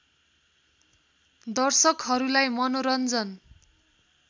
दर्शकहरूलाई मनोरन्जन